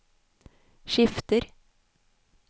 skifter